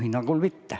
Minu hinnangul mitte.